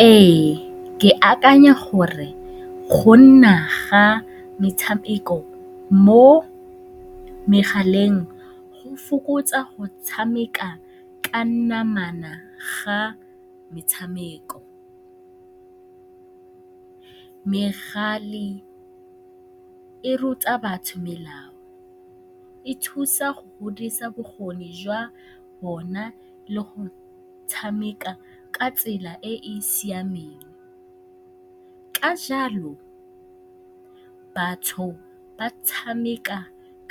Ee, ke akanya gore go nna ga metshameko mo megaleng go fokotsa go tshameka ka namana ga metshameko. Megala e ruta batho melao, e thusa go godisa bokgoni jwa bona le go tshameka ka tsela e e siameng. Ka jalo, batho ba tshameka